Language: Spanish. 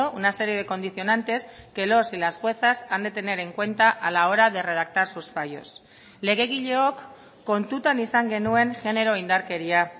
una serie de condicionantes que los y las juezas han de tener en cuenta a la hora de redactar sus fallos legegileok kontutan izan genuen genero indarkeria